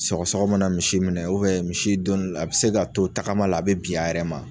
Sɔgɔsɔgɔ mana misi minɛ misi don no la a bɛ se ka to tagama la a be bi a yɛrɛ ma